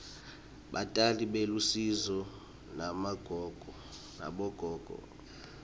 batali belusiso nabogogo